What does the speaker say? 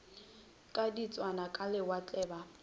ka diketswana ka lewatle ba